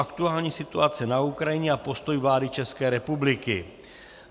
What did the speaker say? Aktuální situace na Ukrajině a postoj vlády České republiky